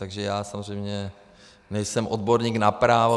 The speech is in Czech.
Takže já samozřejmě nejsem odborník na právo.